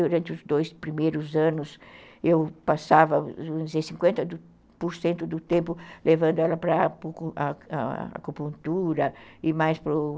Durante os dois primeiros anos, eu passava uns cinquenta por cento do tempo levando ela para a acupuntura e mais para o...